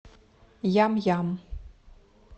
ям ям